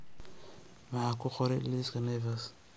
maxaan ku qoray liiska naivas